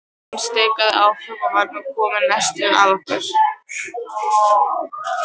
Hún stikaði áfram og var nú komin næstum að okkur.